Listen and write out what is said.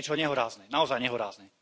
To je niečo nehorázne, naozaj nehorázne.